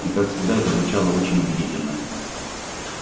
и как всегда это звучало очень убедительно